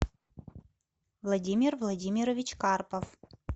владимир владимирович карпов